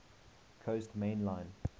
coast main line